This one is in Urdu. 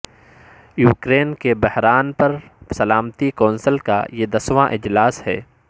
یوکرین کی بحران پر سلامتی کونسل کا یہ دسواں اجلاس ہے